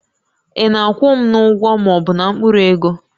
Ị na-akwụ m n'ụgwọ ma ọ bụ na mkpụrụ ego?